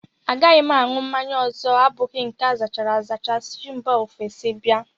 Agaghị m aṅụ mmanya ọzọ abụghị nke azachara azacha si mba ofesi bịa